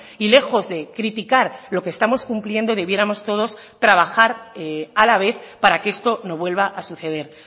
y lejos de criticar lo que estamos cumpliendo debiéramos todos trabajar a la vez para que esto no vuelva a suceder